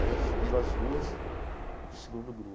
Aí subiram as duas para o segundo